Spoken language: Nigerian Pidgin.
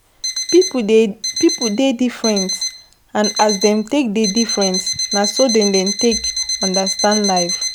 Pipo dey different and as dem take dey different na so dem take understand life